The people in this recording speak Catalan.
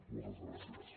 moltes gràcies